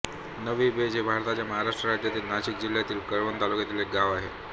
नवीबेज हे भारताच्या महाराष्ट्र राज्यातील नाशिक जिल्ह्यातील कळवण तालुक्यातील एक गाव आहे